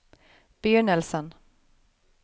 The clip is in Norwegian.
begynnelsen